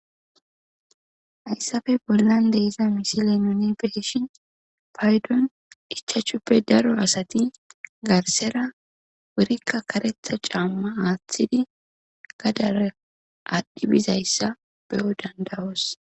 hayssafe bollande iza misile nuni beeshin paydon ichachuppe daro asati garsera wurikka karetha caamma aaththidi gadare aadhdhi bizayssa beyo dandawoos